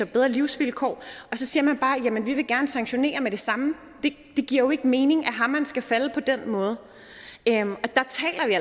bedre livsvilkår så siger man bare jamen vi vil gerne sanktionere med det samme det giver jo ikke mening at hammeren skal falde på den måde